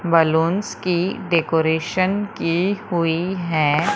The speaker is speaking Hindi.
बलूंस की डेकोरेशन की हुई है।